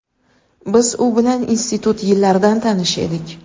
Biz u bilan institut yillaridan tanish edik.